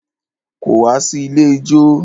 Kò wá sí ilé ijó.